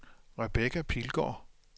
Rebecca Pilgaard